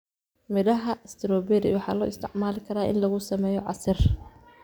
Midhaha strawberry waxaa loo isticmaali karaa in lagu sameeyo casiir.